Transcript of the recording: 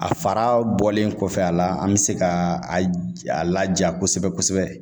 A fara bɔlen kɔfɛ a la, an bɛ se ka laja kosɛbɛ kosɛbɛ.